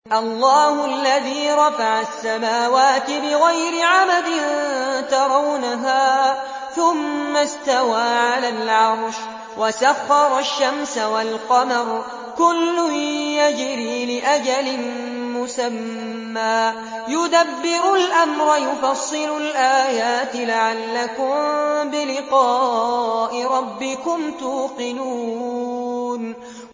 اللَّهُ الَّذِي رَفَعَ السَّمَاوَاتِ بِغَيْرِ عَمَدٍ تَرَوْنَهَا ۖ ثُمَّ اسْتَوَىٰ عَلَى الْعَرْشِ ۖ وَسَخَّرَ الشَّمْسَ وَالْقَمَرَ ۖ كُلٌّ يَجْرِي لِأَجَلٍ مُّسَمًّى ۚ يُدَبِّرُ الْأَمْرَ يُفَصِّلُ الْآيَاتِ لَعَلَّكُم بِلِقَاءِ رَبِّكُمْ تُوقِنُونَ